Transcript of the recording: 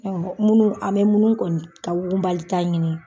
Minnu an bɛ munnu kɔni ta wugunbali ta ɲini.